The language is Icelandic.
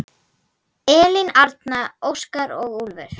Elín Arna, Óskar og Úlfur.